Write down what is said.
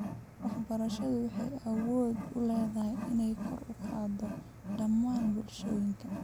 Waxbarashadu waxay awood u leedahay inay kor u qaaddo dhammaan bulshooyinka.